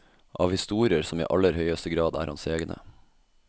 Av historier som i aller høyeste grad er hans egne.